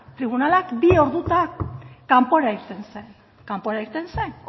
tribunalak bi ordutan kanpora irten zen kanpora irten zen